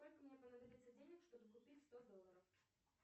сколько мне понадобится денег чтобы купить сто долларов